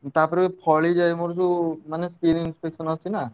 ତାପରେ ଫଳିଯାଏ ମୋର ଯୋଉ ମାନେ skin infection ଅଛି ନାଁ।